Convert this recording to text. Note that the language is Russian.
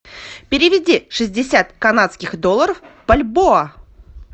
переведи шестьдесят канадских долларов в бальбоа